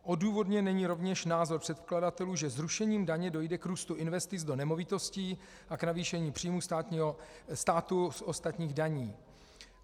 Odůvodněn není rovněž názor předkladatelů, že zrušením daně dojde k růstu investic do nemovitostí a k navýšení příjmů státu z ostatních daní.